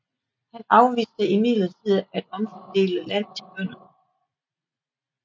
Han afviste imidlertid at omfordele land til bønderne